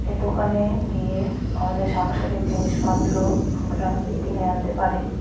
এ দোকানে গিয়ে আমাদের সাংসারিক জিনিসপত্র আমরা কিনে আনতে পারি।